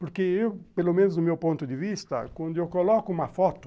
Porque eu, pelo menos do meu ponto de vista, quando eu coloco uma foto,